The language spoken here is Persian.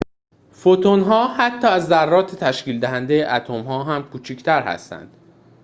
فوتون‌ها حتی از ذرات تشکیل‌دهنده اتم‌ها هم کوچکتر هستند